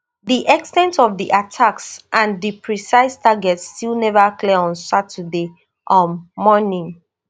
di ex ten t of di attacks and di precise targets still neva clear on saturday um morning